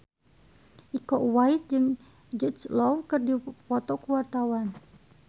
Iko Uwais jeung Jude Law keur dipoto ku wartawan